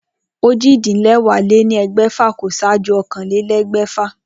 Ojì-dín-léwàá-lé-ní-egbèfà kò sáájú ókànlélé̩gbè̩fà